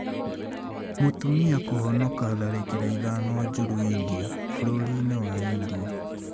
Mũtumia kũhonoka tharĩkĩra ithano njũru India bũrũri-inĩ wa India